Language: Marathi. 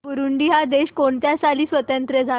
बुरुंडी हा देश कोणत्या साली स्वातंत्र्य झाला